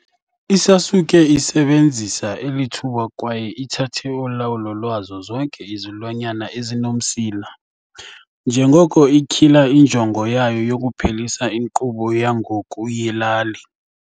I-Sasuke isebenzisa eli thuba kwaye ithathe ulawulo lwazo zonke izilwanyana ezinomsila, njengoko ityhila injongo yayo yokuphelisa inkqubo yangoku yelali.